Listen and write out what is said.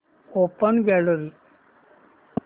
open gallery